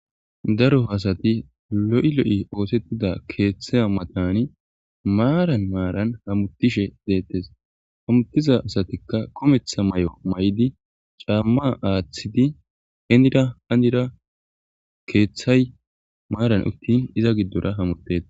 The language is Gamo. Daro asati lo7i lo7i oosettida keeththa matani maaran maaran hamutishe deettes hamuttiza asatikka kometha may7o may7di caamma aaththidi hennida handira keeththay maaran uttin iza giddora hamutte.